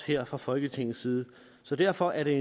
her fra folketingets side så derfor er det